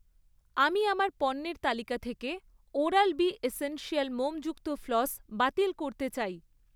আমি আমার পণ্যের তালিকা থেকে ওরাল বি এসেন্সিয়াল মোমযুক্ত ফ্লস বাতিল করতে চাই।